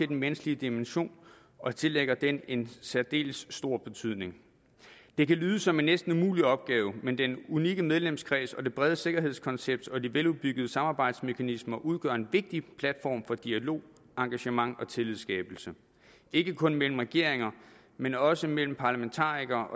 den menneskelige dimension og tillægger den en særdeles stor betydning det kan lyde som en næsten umulig opgave men den unikke medlemskreds det brede sikkerhedskoncept og de veludviklede samarbejdsmekanismer udgør en vigtig platform for dialog engagement og tillidsskabelse ikke kun mellem regeringer men også mellem parlamentarikere